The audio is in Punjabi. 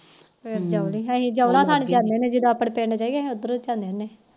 ਫਿਰ ਜਦੋ ਆਪਣੇ ਪਿੰਡ ਜਾਈਏ ਫਿਰ